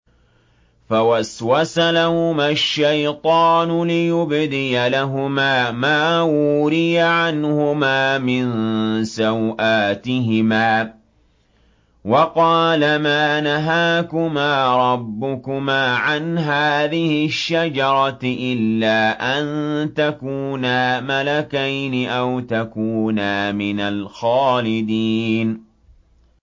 فَوَسْوَسَ لَهُمَا الشَّيْطَانُ لِيُبْدِيَ لَهُمَا مَا وُورِيَ عَنْهُمَا مِن سَوْآتِهِمَا وَقَالَ مَا نَهَاكُمَا رَبُّكُمَا عَنْ هَٰذِهِ الشَّجَرَةِ إِلَّا أَن تَكُونَا مَلَكَيْنِ أَوْ تَكُونَا مِنَ الْخَالِدِينَ